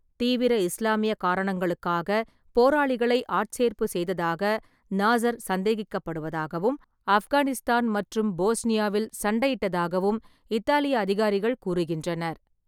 தீவிர இஸ்லாமிய காரணங்களுக்காக போராளிகளை ஆட்சேர்ப்பு செய்ததாக நாஸ்ர் சந்தேகிக்கப்படுவதாகவும், ஆப்கானிஸ்தான் மற்றும் போஸ்னியாவில் சண்டையிட்டதாகவும் இத்தாலிய அதிகாரிகள் கூறுகின்றனர்.